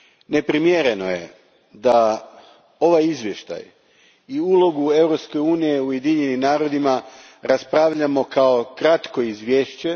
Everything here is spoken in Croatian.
Neprimjereno je da ovaj izvještaj i ulogu Europske unije u Ujedinjenim narodima raspravljamo kao kratko izvješće.